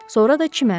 Sonra da çimərdilər.